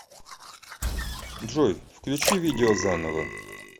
джой включи видео заново